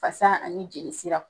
fasa ani jeli siraw